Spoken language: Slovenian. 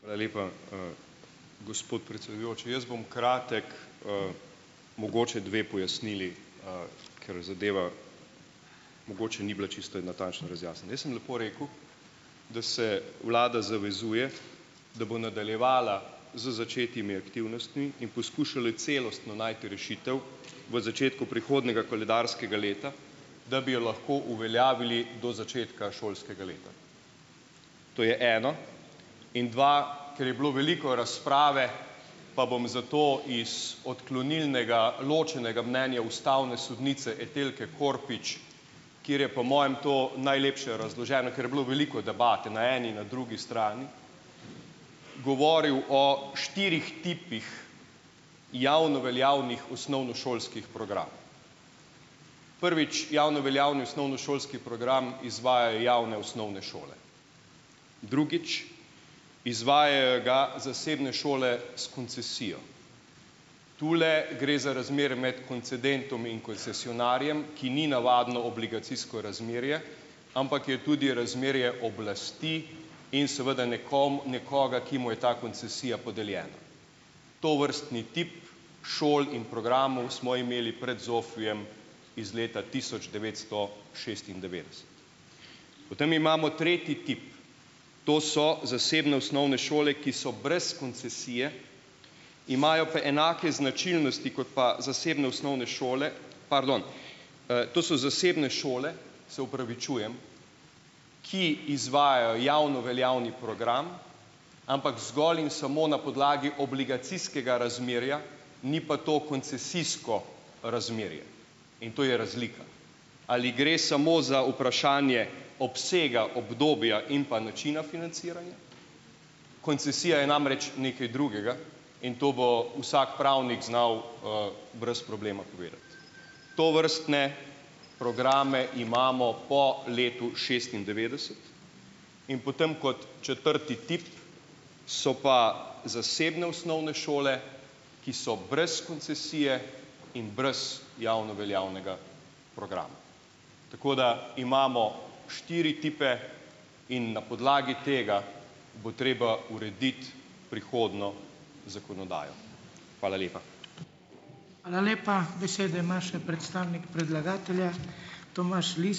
Hvala lepa, gospod predsedujoči! Jaz bom kratek, mogoče dve pojasnili, ker zadeva mogoče ni bila čisto in natančno razjasnjena. Jaz sem lepo rekel, da se vlada zavezuje, da bo nadaljevala z začetimi aktivnostmi in poskušal celostno najti rešitev v začetku prihodnjega koledarskega leta, da bi jo lahko uveljavili do začetka šolskega leta. To je eno. In dva, ker je bilo veliko razprave, pa bom zato iz odklonilnega ločenega mnenja ustavne sodnice Etelke Korpič, kateri je po mojem to najlepše razloženo, ker je bilo veliko debate na eni, na drugi strani, govoril o štirih tipih javno veljavnih osnovnošolskih programov. Prvič, javno veljavni osnovnošolski program izvajajo javne osnovne šole. Drugič, izvajajo ga zasebne šole s koncesijo. Tule gre za razmerje med koncedentom in koncesionarjem, ki ni navadno obligacijsko razmerje, ampak je tudi razmerje oblasti in seveda nekom, nekoga, ki mu je ta koncesija podeljena. Tovrstni tip šol in programov smo imeli pred ZOFVI-jem iz leta tisoč devetsto šestindevetdeset. Potem imamo tretji tip, to so zasebne osnovne šole, ki so brez koncesije, imajo pa enake značilnosti kot pa zasebne osnovne osnovne šole, pardon, to so zasebne šole, se opravičujem, ki izvajajo javno veljavni program, ampak zgolj in samo na podlagi obligacijskega razmerja, ni pa to koncesijsko razmerje in to je razlika. Ali gre samo za vprašanje obsega obdobja in pa načina financiranja? Koncesija je namreč nekaj drugega in to bo vsak pravnik znal, brez problema povedati. Tovrstne programe imamo po letu šestindevetdeset in potem, kot četrti tip, so pa zasebne osnovne šole, ki so brez koncesije in brez javno veljavnega programa. Tako da imamo štiri tipe in na podlagi tega bo treba urediti prihodnjo zakonodajo. Hvala lepa.